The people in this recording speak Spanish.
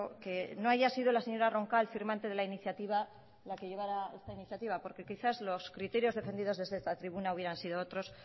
que no haya sido la señora roncal firmante de la iniciativa la que llevaba esta iniciativa porque quizá los criterios defendidos desde esta tribuna hubieran sido otros